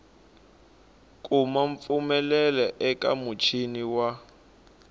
kuma mpfumelelo eka muchini wa